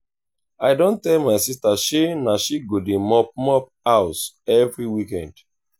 i don tell my sista sey na she go dey mop mop house every weekend.